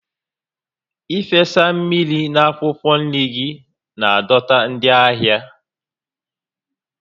Ịfesa mmiri na akwụkwọ nri gị na-adọta ndị ahịa